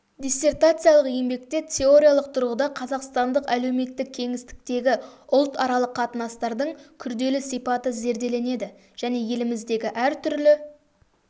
диссертациялық еңбекте теориялық тұрғыда қазақстандық әлеуметтік кеңістіктегі ұлтаралық қатынастардың күрделі сипаты зерделенеді және еліміздегі әртүрлі